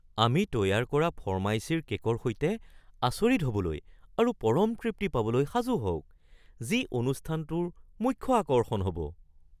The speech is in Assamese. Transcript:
আমি তৈয়াৰ কৰা ফৰ্মাইচীৰ কে'কৰ সৈতে আচৰিত হ'বলৈ আৰু পৰম তৃপ্তি পাবলৈ সাজু হওক যি অনুষ্ঠানটোৰ মুখ্য আকৰ্ষণ হ’ব।